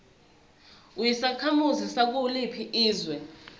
uyisakhamuzi sakuliphi izwe